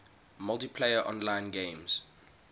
multiplayer online games